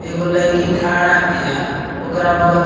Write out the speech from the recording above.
एगो लईकी खड़ा बिया। ओकरा बगल --